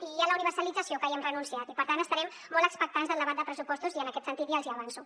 i a la universalització que ja hi hem renunciat i per tant estarem molt expectants del debat de pressupostos i en aquest sentit ja els hi avanço